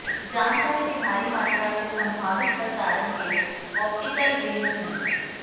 जानकारी के भारी मात्रा के संभावित प्रसारण के ऑप्टिकल रेंज में